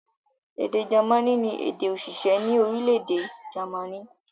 Èdè German ni èdè-òṣìṣẹ́ ní orílẹ̀-èdè Jámánì.